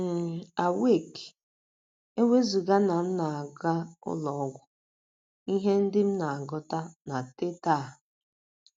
n Awake! E wezụga na m na - aga ụlọ ọgwụ, ihe ndị m na - agụta na Teta!